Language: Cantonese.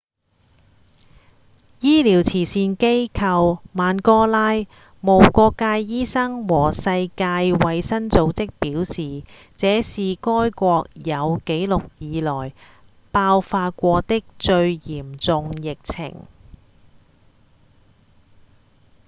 醫療慈善機構曼戈拉、無國界醫生和世界衛生組織表示這是該國有記錄以來爆發過的最嚴重的疫情